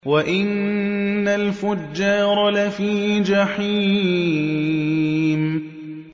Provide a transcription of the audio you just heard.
وَإِنَّ الْفُجَّارَ لَفِي جَحِيمٍ